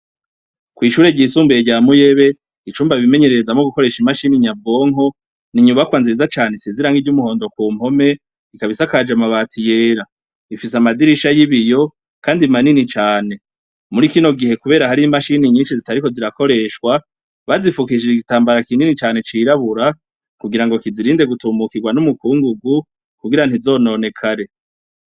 Kw'ishure ryisumbuye rya Muyebe, icumba bimenyererezamwo gukoresha imashini nyabwonko, ni inyubakwa nziza cane isize irangi ry'umuhondo ku mpome, ikaba isakaje amabati yera. Ifise amadirisha y'ibiyo, kandi manini cane. Muri kino gihe kubera hari imashini nyinshi zitariko zirakoreshwa, bazifukishije igitambara kinini canke cirabura, kugira ngo kizirinde gutumukirwa n'umukungugu, kugira ntizobobekare.